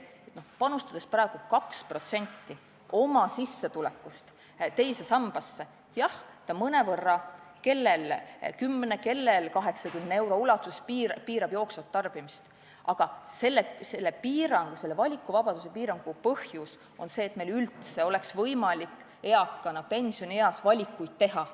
Panustades praegu 2% oma sissetulekust teise sambasse – jah, see mõnevõrra erineb, kellel piirab see 10, kellel 80 euro ulatuses jooksvat tarbimist –, tuleb teada, et selle piirangu, selle valikuvabaduse piirangu põhjus on see, et meil eakana oleks pensionieas üldse võimalus valikuid teha.